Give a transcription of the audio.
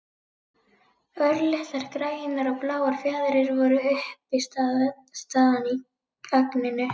Örlitlar grænar og bláar fjaðrir voru uppistaðan í agninu.